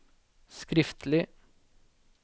skriftlig